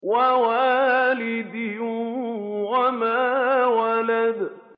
وَوَالِدٍ وَمَا وَلَدَ